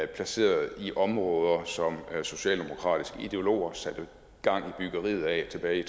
placeret i områder som socialdemokratiske ideologer satte gang i byggeriet af tilbage i